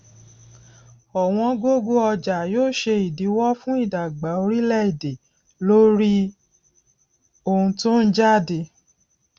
ọwọn gógó ọjà yóò ṣe ìdíwó fún ìdàgbà oríléèdè lórí ohun tó ń jáde